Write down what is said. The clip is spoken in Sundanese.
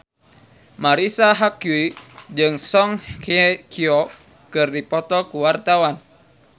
Marisa Haque jeung Song Hye Kyo keur dipoto ku wartawan